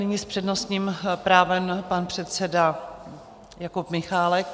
Nyní s přednostním právem pan předseda Jakub Michálek.